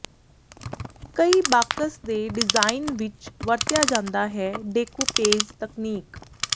ਕਈ ਬਾਕਸ ਦੇ ਡਿਜ਼ਾਇਨ ਵਿੱਚ ਵਰਤਿਆ ਜਾਦਾ ਹੈ ਡੇਕੁਪੇਜ ਤਕਨੀਕ